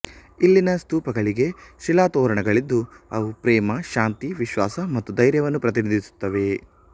ಇಲ್ಲಿನ ಸ್ತೂಪಗಳಿಗೆ ಶಿಲಾತೋರಣಗಳಿದ್ದು ಅವು ಪ್ರೇಮ ಶಾಂತಿ ವಿಶ್ವಾಸ ಮತ್ತು ಧೈರ್ಯವನ್ನು ಪ್ರತಿನಿಧಿಸುತ್ತವೆ